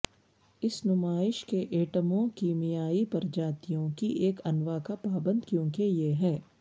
اس نمائش کے ایٹموں کیمیائی پرجاتیوں کی ایک انو کا پابند کیونکہ یہ ہے